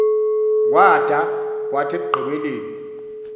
kwada kwathi ekugqibeleni